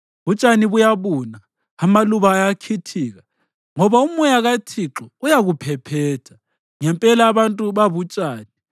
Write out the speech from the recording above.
Utshani buyabuna amaluba ayakhithika, ngoba umoya kaThixo uyakuphephetha. Ngempela abantu babutshani.